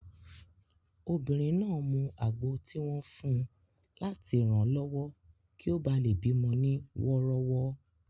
Obìnrin náà mu àgbo tí wọ́n fun láti ranlọwọ kí ó bá lè bí mọ ní wọ́rọ́wọ́